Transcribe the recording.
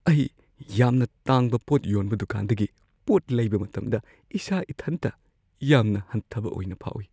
ꯑꯩ ꯌꯥꯝꯅ ꯇꯥꯡꯕ ꯄꯣꯠ ꯌꯣꯟꯕ ꯗꯨꯀꯥꯟꯗꯒꯤ ꯄꯣꯠ ꯂꯩꯕ ꯃꯇꯝꯗ ꯏꯁꯥ-ꯢꯊꯟꯇ ꯌꯥꯝꯅ ꯍꯟꯊꯕ ꯑꯣꯏꯅ ꯐꯥꯎꯢ ꯫